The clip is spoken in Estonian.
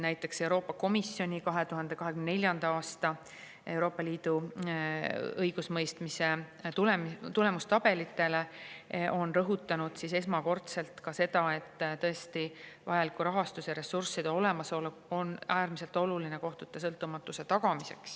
Näiteks Euroopa Komisjoni 2024. aasta Euroopa Liidu õigusemõistmise tulemustabelite puhul on esmakordselt rõhutatud, et tõesti vajaliku rahastuse, ressursside olemasolu kõrval on äärmiselt oluline tagada kohtute sõltumatus.